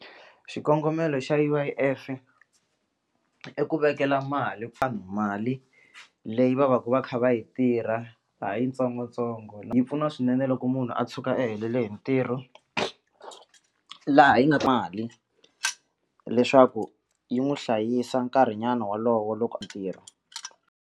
Xikongomelo xa U_I_F i ku vekela mali vanhu mali leyi va va ka va kha va yi tirha ha yitsongotsongo yi pfuna swinene loko munhu a tshuka a helele hi ntirho laha yi nga mali leswaku yi n'wi hlayisa nkarhinyana wolowo loko a .